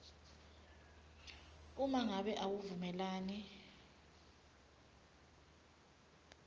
uma ngabe awuvumelani